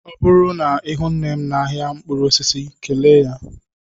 Ọ bụrụ na ihụ nnem n'ahịa mkpụrụ osisi kelee ya.